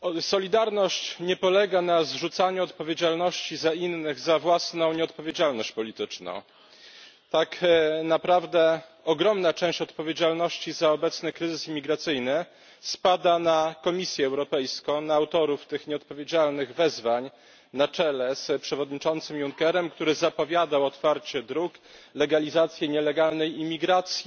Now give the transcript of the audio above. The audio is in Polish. Solidarność nie polega na zrzucaniu odpowiedzialności na innych za własną nieodpowiedzialność polityczną. Tak naprawdę ogromna część odpowiedzialności za obecny kryzys imigracyjny spada na Komisję Europejską, na autorów tych nieodpowiedzialnych wezwań na czele z przewodniczącym Junckerem, który zapowiadał otwarcie dróg legalizacji nielegalnej imigracji.